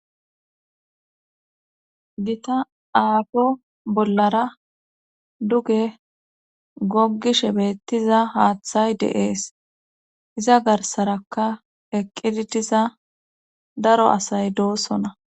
Gita aafo bollara duge gogishe beettiza haaththay deees iza garsaraka eqqidi diza daro asay doosona'